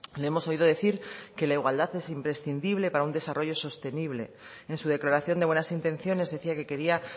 le hemos oído decir que la igualdad es imprescindible para un desarrollo sostenible en su declaración de buenas intenciones decía que quería